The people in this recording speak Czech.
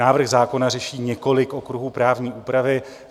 Návrh zákona řeší několik okruhů právní úpravy.